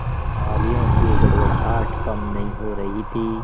तालियों की गड़गड़ाहट कम नहीं हो रही थी